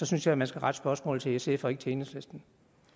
synes jeg man skal rette spørgsmålet til sf og ikke til enhedslisten